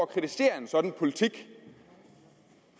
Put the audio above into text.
kritisere en sådan politik